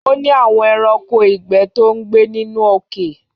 Ó ní àwọn ẹranko ìgbẹ́ tó ń gbé nínú òkè.